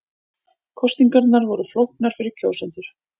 Kosningarnar voru flóknar fyrir kjósendur